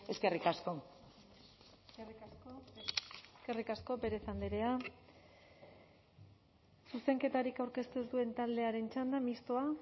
eskerrik asko eskerrik asko pérez andrea zuzenketarik aurkeztu ez duen taldearen txanda mistoa